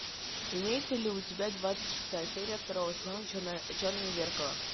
имеется ли у тебя двадцать шестая серия второго сезона черное зеркало